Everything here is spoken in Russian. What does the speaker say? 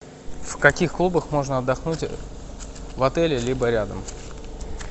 в каких клубах можно отдохнуть в отеле либо рядом